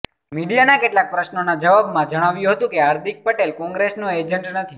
મીડિયાના કેટલાક પ્રશ્નોના જવાબમાં જણાવ્યું હતું કે હાર્દિક પટેલ કોંગ્રેસનો એજન્ટ નથી